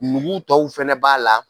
Nugu tɔw fana b'a la